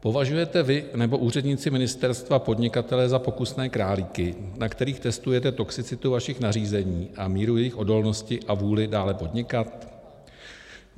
Považujete vy nebo úředníci ministerstva podnikatele za pokusné králíky, na kterých testujete toxicitu vašich nařízení a míru jejich odolnosti a vůli dále podnikat?